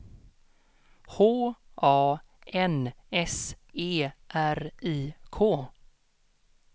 H A N S E R I K